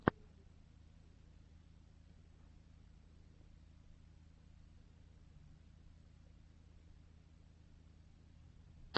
выведи мне список концертов